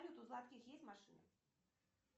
у гладких есть машина